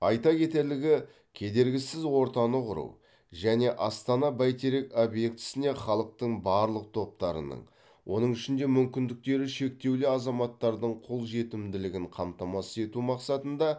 айта кетерлігі кедергісіз ортаны құру және астана бәйтерек объектісіне халықтың барлық топтарының оның ішінде мүмкіндіктері шектеулі азаматтардың қолжетімділігін қамтамасыз ету мақсатында